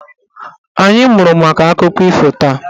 Anyị mụrụ maka akụkọ ifo taa.